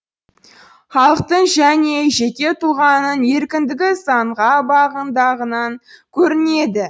халықтың және жеке тұлғаның еркіндігі заңға бағынғандығынан көрінеді